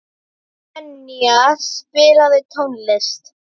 Enea, spilaðu tónlist.